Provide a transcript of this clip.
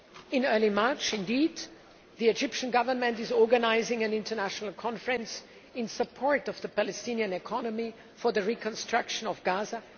In early March, the Egyptian Government is organising an international conference in Sharm el Sheikh in support of the Palestinian economy for the reconstruction of Gaza.